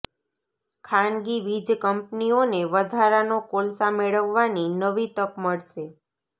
ખાનગી વીજ કંપનીઓને વધારાનો કોલસા મેળવવાની નવી તક મળશે